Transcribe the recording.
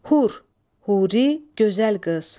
Hur, huri, gözəl qız.